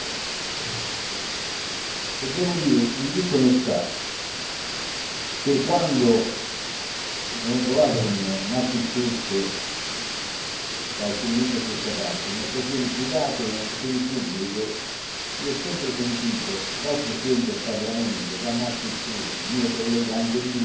E devo dire, in tutta onestà, che quando mi sono trovato con Martin Schulz, da alcuni mesi a questa parte in occasioni private e in occasioni pubbliche io ho sempre sentito dal Presidente del Parlamento, da Martin Schulz, anche mio collega di gruppo, posizioni